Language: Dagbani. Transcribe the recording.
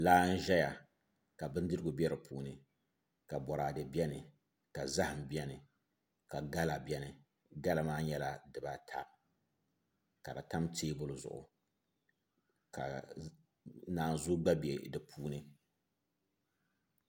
Laa n ʒɛya ka bindirigu bɛ di puuni ka boraadɛ bɛni ka zaham bɛni ka gala bɛni gala maa nyɛla dibata ka di tam teebuli zuɣu ka naanzuu gba bɛ di puuni